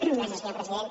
gràcies senyor president